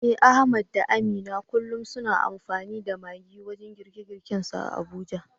Eh Ahmad da Amina kullum suna amfani da maggi wajen girkinsu a Abuja.